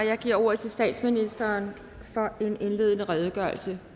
jeg giver ordet til statsministeren for en indledende redegørelse